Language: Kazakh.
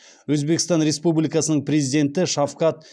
өзбекстан республикасының президенті шавкат